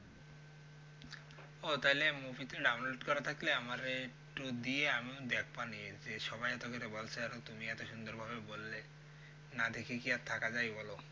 ও তালে movie টা download করা থাকলে আমারে একটু দিয়ে আমিও দেখবো নিয়ে যে সবাই এতো করে বলছে আর তুমি এতো সুন্দর ভাবে বললে না দেখে কি আর থাকা যাই বলো